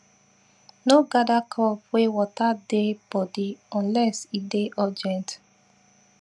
no gather crop wey water dey body unless e dey urgent